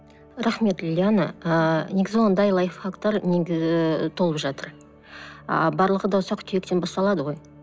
рахмет лиана ыыы негізі ондай лайфхактар толып жатыр а барлығы да ұсақ түйектен басталады ғой